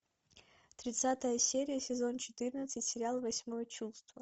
тридцатая серия сезон четырнадцать сериал восьмое чувство